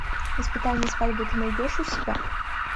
испытание свадьбой ты найдешь у себя